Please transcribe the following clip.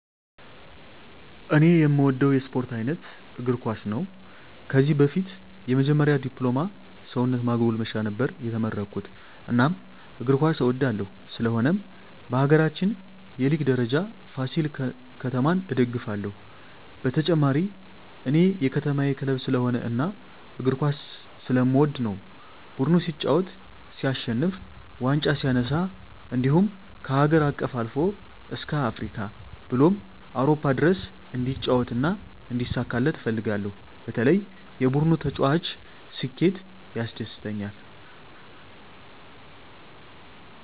እኔ እምወደው የስፓርት አይነት እግርኳስ ነው ከዚህ በፊት የመጀመሪ ድፕሎማ ሰውነት ማጎልመሻ ነበር የተመረኩት እናም እግር ኳስ እወዳለሁ ስለሆነም በሀገራችን የሊግ ደረጃ ፍሲል ከተማ እደግፍለ ሁ በተጨማሪ እኔ የከተማየ ክለብ ስለሆነ እና እግር ኳስ ስለምወድ ነው ቡድኑ ሲጫወት ሲሸንፍ ዋንጫ ሲነሳ እንድሁም ከሀገር አቀፍ አልፎ እስከ አፍሪካ ብሎም አውሮፓ ድረስ እንዲጫወት እና እንዲሳካለት እፈልጋለሁ በተለይ የቡድኑ ተጫዋች ስኬት ያስደስተኛል።